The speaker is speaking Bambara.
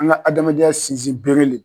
An ka adamadenya sinsin bere le.